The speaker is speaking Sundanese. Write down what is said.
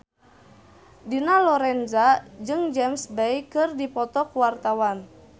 Dina Lorenza jeung James Bay keur dipoto ku wartawan